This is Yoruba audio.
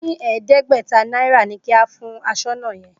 Mo ní ẹ̀ẹ́dẹ́gbẹ̀ta náírà ni kí o fún aṣọ́nà yẹn.